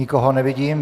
Nikoho nevidím.